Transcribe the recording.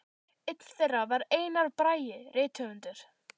Einn þeirra var Einar Bragi rithöfundur.